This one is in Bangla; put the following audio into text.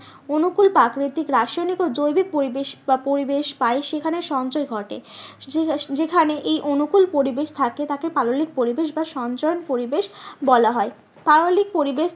অনুকূল রাসায়নিক ও জৈবিক পরিবেশ বা পরিবেশ পায় সেখানে সঞ্চয় ঘটে যেখানে এই অনুকূল পরিবেশ থাকে তাকে পাললিক পরিবেশ বা সঞ্চরণ পরিবেশ বলা হয়। পাললিক পরিবেশ